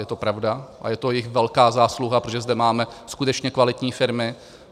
Je to pravda a je to jejich velká zásluha, protože zde máme skutečně kvalitní firmy.